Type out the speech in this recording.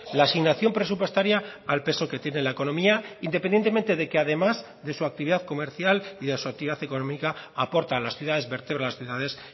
la asignación presupuestaria al peso que tiene la economía independientemente de que además de su actividad comercial y de su actividad económica aporta a las ciudades vertebra las ciudades